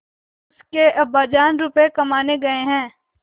उसके अब्बाजान रुपये कमाने गए हैं